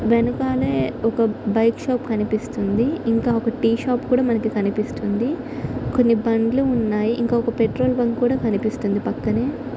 వెనకాలే ఒక bike shop కనిపిస్తుంది. ఇంకా ఒకటి టీ షాప్ కూడా కనిపిస్తుంది. కొన్ని బండ్లు ఉన్నాయి. ఇంకా ఒక పెట్రోల్ బంక్ కూడా కనిపిస్తుంది పక్కనే.